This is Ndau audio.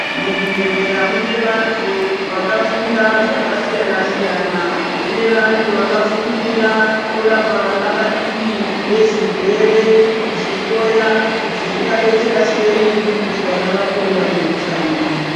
Muzvibhehlera mune vantu vakafunda zvakasiyana siyana mune vantu vakafundira kurapa vana vadiki zvirwere kuzvihloya kutizvingadetsera sei kuti vana vakure vane utano.